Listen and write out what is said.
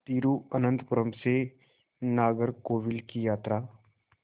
तिरुवनंतपुरम से नागरकोविल की यात्रा